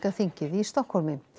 þingið í Stokkhólmi